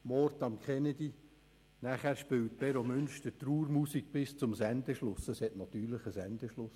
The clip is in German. «Mord an Kennedy», anschliessend spielte Beromünster Trauermusik bis zum Sendeschluss – es gab natürlich einen Sendeschluss.